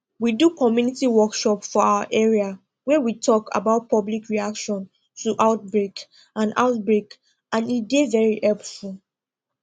we do community workshop for our area wey we talk about public reaction to outbreak and outbreak and e dey very helpful